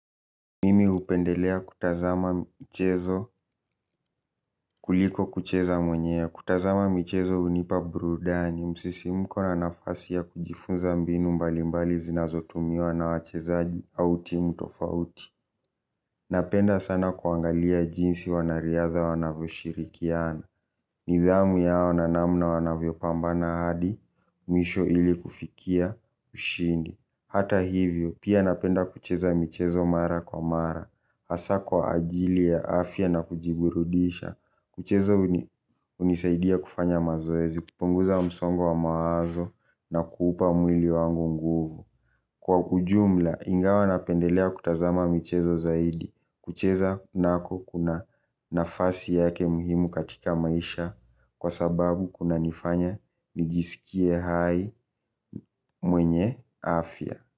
Mimi hupendelea kutazama mchezo kuliko kucheza mwenyewe kutazama mchezo hunipa burudani msisimuko na nafasi ya kujifunza mbinu mbali mbali zinazotumiwa na wachezaji au timu tofauti. Napenda sana kuangalia jinsi wanariadha wanavyoshirikiana. Nidhamu yao na namna wanavyopambana hadi mwisho ili kufikia ushindi. Hata hivyo pia napenda kucheza mchezo mara kwa mara hasa kwa ajili ya afya na kujiburudisha. Kucheza hunisaidia kufanya mazoezi kupunguza msongo wa mawazo na kuupa mwili wangu nguvu. Kwa ujumla ingawa napendelea kutazama michezo zaidi. Kucheza nako kuna nafasi yake muhimu katika maisha. Kwa sababu kunanifanya nijisikie hai mwenye afya.